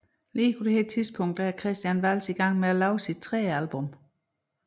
På nuværende tidspunkt er Christian Walz i gang med at lave sit tredje album